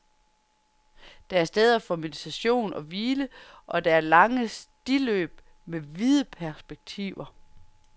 Der er steder for meditation og hvile, og der er lange stiløb med vide perspektiver.